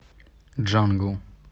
джангл